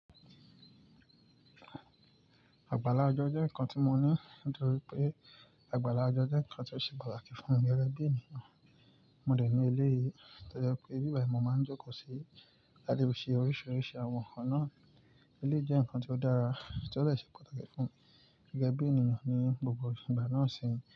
Àgbàlá ọjọ́ jẹ́ nǹkan tí mo ní nítorí pé àgbàlá ọjọ́ jẹ́ nǹkan tí ó ṣe pàtàkì fún mí gẹ́gẹ́ bí ènìyàn. Mo lè ní elé yìí toje pé íbibà í mo máa ń jókòó sí, l'á tifi ṣe oríṣiríṣi àwọn nnkan náà. Ilé jẹ́ nǹkan tí ó dára tí ó lè ṣe pàtàkì fún gẹgẹ́ bí ènìyàn ní gbogbo ìgbà náà ṣe ń.